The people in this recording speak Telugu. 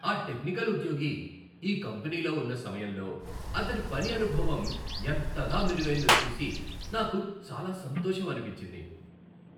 ఆ టెక్నికల్ ఉద్యోగి ఈ కంపెనీలో ఉన్న సమయంలో అతడి పని అనుభవం ఎంతగా మెరుగైందో చూసి నాకు చాలా సంతోషమనిపించింది.